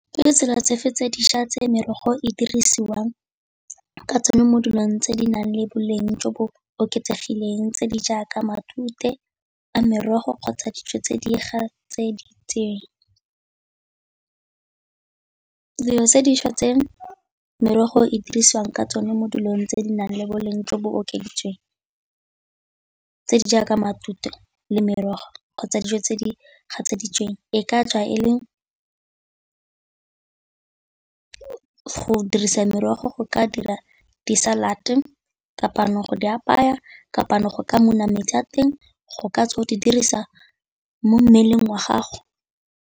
Ke ditsela tse fe tse dišwa tse merogo e dirisiwang ka tsone mo dilong tse di nang le boleng jo bo oketsegileng tse di jaaka matute a merogo kgotsa dijo tse di gatseditsweng? Dilo tse dišwa tse merogo e dirisiwang ka tsone mo dilong tse di nang le boleng jo bo okeditsweng jaaka matute le merogo kgotsa dijo tse di gatseditsweng e ka tswa e le go dirisa merogo go ka dira di salad, go di apaya, go ka muna metsi a teng go ka tswa di dirisa mo mmeleng wa gago.